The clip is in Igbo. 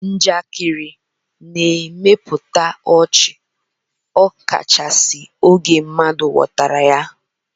Njakịrị na-emepụta ọchị ọkachasị oge mmadụ ghọtara ya.